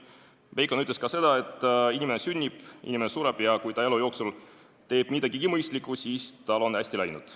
Bacon ütles ka seda, et inimene sünnib, inimene sureb, ja kui ta elu jooksul teeb midagigi mõistlikku, siis tal on hästi läinud.